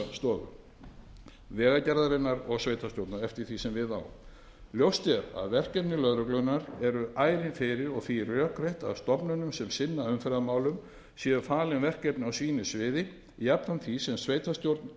umferðarstofu vegagerðarinnar og sveitarstjórna eftir því sem við á ljóst er að verkefni lögreglunnar eru ærin fyrir og því rökrétt að stofnunum sem sinna umferðarmálum séu falin verkefni á sínu sviði jafnframt því sem